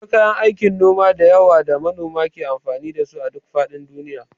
Akwai kayan aikin noma da yawa da manoma ke amfani da su a duk faɗin duniya.